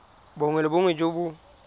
bongwe le bongwe jo bo